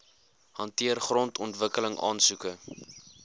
hanteer grondontwikkeling aansoeke